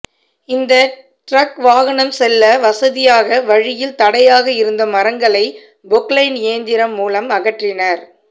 இந்த டிரக் வாகனம் செல்ல வசதியாக வழியில் தடையாக இருந்த மரங்களை பொக்லைன் இயந்திரம் மூலம் அகற்றினா்